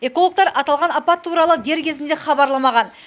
экологтар аталған апат туралы дер кезінде хабарламаған